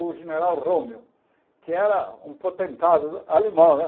o general Rommel, que era um potentado alemão né.